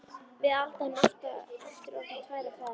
Við Alda erum aftur orðnar tvær á ferð.